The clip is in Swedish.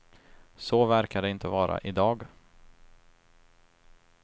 Så verkar det inte vara i dag.